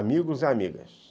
Amigos e amigas.